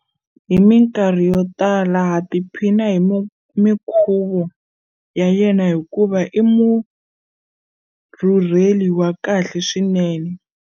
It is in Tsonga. Hi mikarhi yo tala ha tiphina hi mikhuvo ya yena hikuva i murhurheli wa kahle swinene.